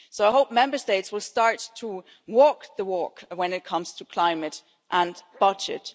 So I hope Member States will start to walk the walk when it comes to climate and budget.